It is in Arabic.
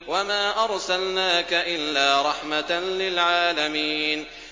وَمَا أَرْسَلْنَاكَ إِلَّا رَحْمَةً لِّلْعَالَمِينَ